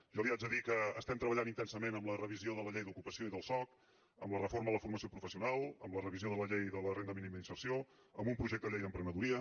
jo li haig de dir que estem treballant intensament en la revisió de la llei d’ocupació i del soc en la reforma de la formació professional en la revisió de la llei de la renda mínima d’inserció en un projecte de llei d’emprenedoria